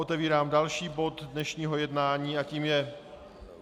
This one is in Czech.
Otevírám další bod dnešního jednání a tím je